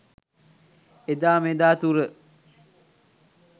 එදා මෙදා තුර